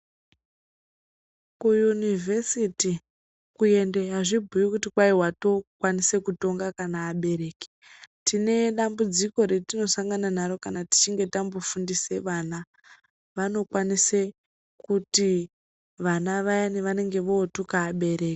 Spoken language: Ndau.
Kuyunivesiti kuendayo hazvi kubhuyi kuti kwayi wotowo kukwanisa kutonga kana abereki tine dambudziko rati nosangana naro kana tichinge tambofundisa vana vanokwanisa kuti vana vayani vanenge votuka abereki.